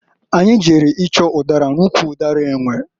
Anyị jere ịchọ ụdara n'ụkwụ ụdara enwe.